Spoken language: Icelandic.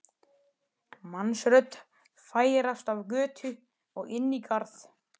mannsrödd færast af götu og inn í garð.